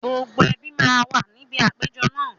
Gbogbo ẹbí máa wà níbi àpéjọ náà